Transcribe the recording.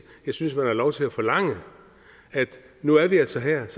jeg synes man har lov til at forlange at nu er vi altså her